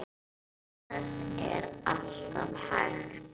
Það er allt hægt.